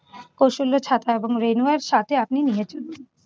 কৌশলে ছাতা এবং rainwear সাথে আপনি নিয়ে চলুন।